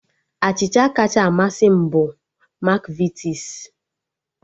Achịcha kacha amasị m bụ Makvitis